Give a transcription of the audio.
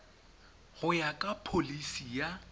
go ya ka pholisi ya